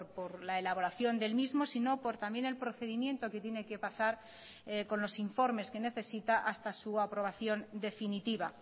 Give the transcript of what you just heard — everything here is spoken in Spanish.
por la elaboración del mismo sino por también el procedimiento que tiene que pasar con los informes que necesita hasta su aprobación definitiva